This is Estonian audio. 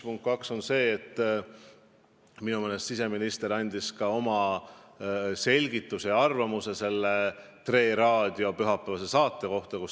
Punkt 2 on see, et minu meelest siseminister andis oma selgituse selle Tre Raadio pühapäevase saate kohta.